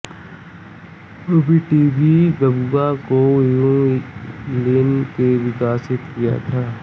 BTB बा गुआ को युन लिन ने विकसित किया था